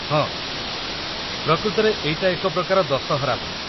ହଁ, ପ୍ରକୃତରେ ଏଇଟା ଏକ ପ୍ରକାର ଦଶହରା ଭଳି ।